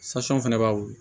fana b'a wili